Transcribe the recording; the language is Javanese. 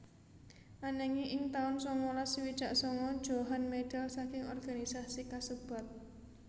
Ananging ing taun sangalas swidak sanga Djohan medal saking organisasi kasebat